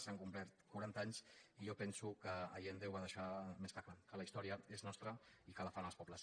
s’han complert quaranta anys i jo penso que allende ho va deixar més que clar que la història és nostra i que la fan els pobles